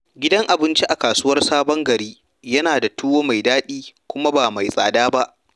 Gidan abinci a kasuwar Sabon Gari yana da tuwo mai daɗi kuma ba mai tsada ba.